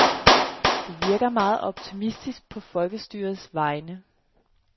Du virker meget optimistisk på folkestyrets vegne.